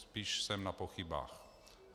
Spíš jsem na pochybách.